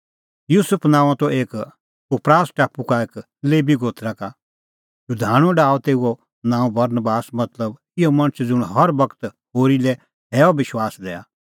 युसुफ नांओं त एक कुप्रास टापू का एक लेबी गोत्रा का शधाणूं डाहअ तेऊओ नांअ बरनबास मतलब इहअ मणछ ज़ुंण हर बगत होरी लै हैअ विश्वास दैआ